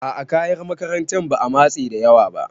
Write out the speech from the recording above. A'a kayan makarantan ma matse da yawa ba.